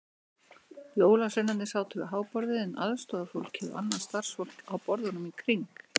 Jólasveinarnir sátu við háborðið en aðstorðafólkið og annað starfsfólk á borðunum í kring.